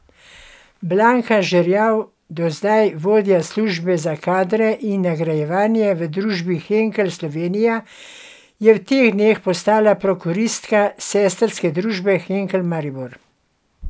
Blanka Žerjav, do zdaj vodja službe za kadre in nagrajevanje v družbi Henkel Slovenija, je v teh dneh postala prokuristka sestrske družbe Henkel Maribor.